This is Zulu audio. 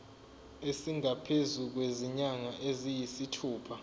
esingaphezu kwezinyanga eziyisithupha